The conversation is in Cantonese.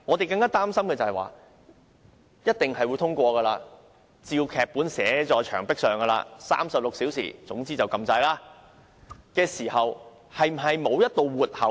這法案是一定會通過的，劇本已經寫在牆壁上 ，36 小時後便按下按鈕，雖然是這樣，但是否沒有一道活口呢？